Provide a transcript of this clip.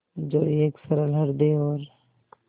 जो एक सरल हृदय और